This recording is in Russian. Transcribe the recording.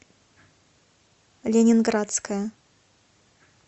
ленинградская